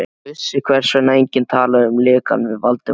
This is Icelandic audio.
Hún vissi, hvers vegna enginn talaði um lekann við Valdimar.